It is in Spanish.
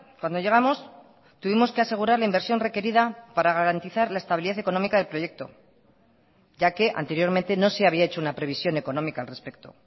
cuando llegamos tuvimos que asegurar la inversión requerida para garantizar la estabilidad económica del proyecto ya que anteriormente no se había hecho una previsión económica al respecto